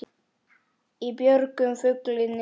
Í björgum fuglinn er.